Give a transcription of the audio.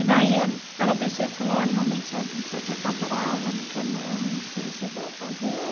E daí eh ela desceu e falou, oh realmente, sua sua tia está brava, não quer mais, eu não sei o que eu vou fazer.